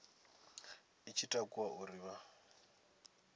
i tshi takuwa uri vha